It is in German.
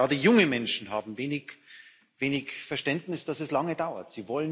Gerade junge Menschen haben wenig Verständnis, dass es lange dauert